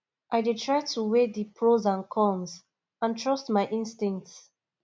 i dey try to weigh di pros and cons and trust my instincts